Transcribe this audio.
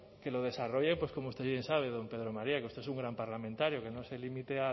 que lo desarrolle pues como usted bien sabe don pedro maría que usted es un gran parlamentario que no se limite